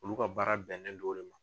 Olu ka baara bɛnnen do o le ma.